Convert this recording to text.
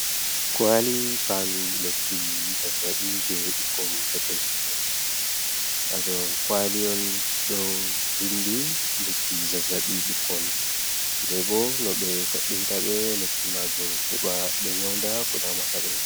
Kwali fandu lekki zazabi je ɓikkonpetel petel haton kwali on ɗo vindi lekki zazabi ɓikkon be bo no ɓe toɓɓinta ɓe lekki majum heba ɓe nyaunda kodamata be.